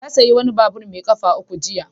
Ya sayi wani babur mai ƙafa uku jiya.